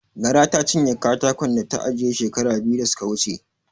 Gara ta cinye katakon da ta ajiye shekara biyu da suka wuce.